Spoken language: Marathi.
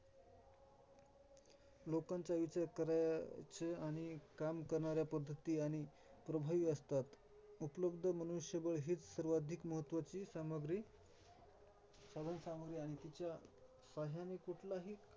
लोकांचा विचार करायच आणि काम करणाऱ्या पध्दती आणि प्रभावी असतात. उपलब्ध मनुष्यबळ हेच सर्वाधिक महत्त्वाची सामग्री सर्व फायद्याने कुठल्याही